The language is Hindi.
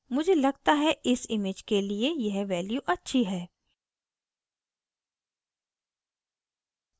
मुझे लगता है इस image के लिए यह value अच्छी है